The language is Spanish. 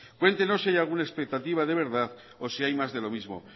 cuéntenos si hay alguna expectativa de verdad o si hay más de lo mismo